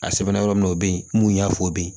A sɛbɛnna yɔrɔ min na o bɛ yen mun y'a fɔ bi